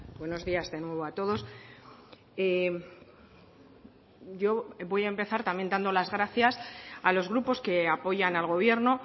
buenos días de nuevo a todos yo voy a empezar también dando las gracias a los grupos que apoyan al gobierno